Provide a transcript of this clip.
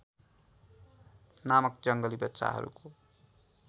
नामक जङ्गली बच्चाहरूको